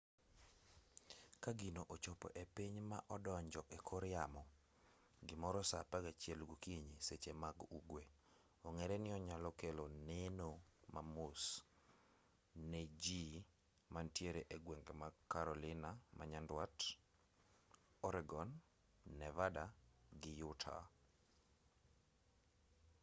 ka gino ochopo e piny ma odonjo e kor yamo gimoro saa apagachiel gokinyi seche mag ugwe ong'ere ni onyalo kelo neno mamos ne ji mantiere egwenge mag carolina manyandwat oregon nevada gi utah